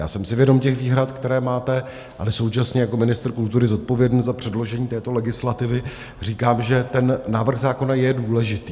Já jsem si vědom těch výhrad, které máte, ale současně jako ministr kultury zodpovědný za předložení této legislativy říkám, že ten návrh zákona je důležitý.